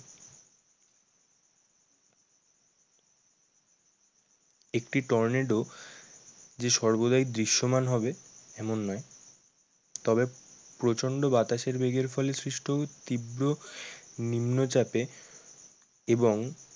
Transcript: একটি টর্নেডো যে সর্বদাই দৃশ্যমান হবে এমন হবে। তবে প্রচন্ড বাতাসের বেগের ফলে সৃষ্ট তীব্র নিম্নচাপে এবং